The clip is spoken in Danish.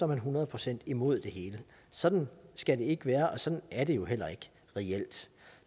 man hundrede procent imod det hele sådan skal det ikke være og sådan er det jo heller ikke reelt